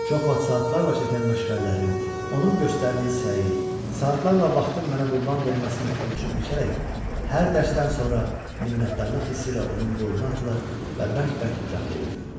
Çox vaxt saatlarla çəkən məşğələlərin, onun göstərdiyi səyi, saatlarla vaxtın mənə qurban verməsini ölçüb-biçərək hər dərsdən sonra minnətdarlıq hissi ilə onun boynuna atılır və bərk-bərk qucaqlayırdım.